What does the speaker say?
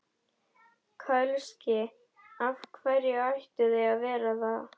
Kölski: Af hverju ættu þau að vera það?